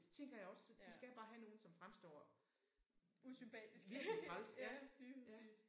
Det tænker jeg også de skal bare have nogen som fremstår virkelig træls ja ja